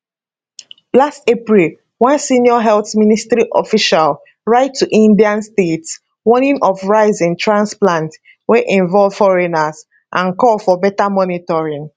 last april one senior health ministry official write to indian states warning of rise in transplants wey involve foreigners and call for better monitoring